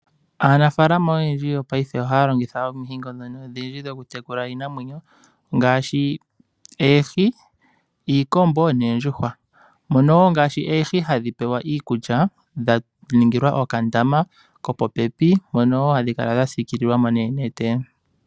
Aanafalama oyendji yopaife ohaya longitha ominino odhindji dho ku tekula iinamwenyo ngaashi oohi, iikombo noondjuhwa. Mono wo ngaashi oohi hadhi pewa iikulya dha ningilwa okandama kopopepi. Mono wo hadhi kala dha siikililwa mo noonete.